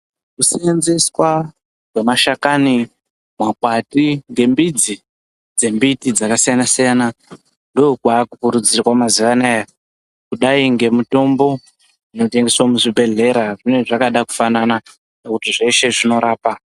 Kuseenzeswa kwemashakani makwati ngembidzi dzembiti dzakasiyana siyana ndokwakukurudzirwa mazuwa anaya kudai ngemutombo inotengeswa muzvibhedhlera zvinenge zvakada kufanana ngekuti zveshe zvinorapa.